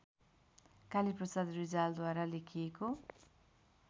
कालीप्रसाद रिजालद्वारा लेखिएको